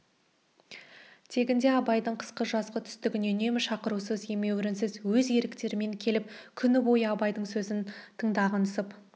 тегінде абайдың қысқы жазғы түстігіне үнемі шақырусыз емеурінсіз өз еріктерімен келіп күні бойы абайдың сөзін тыңдағансып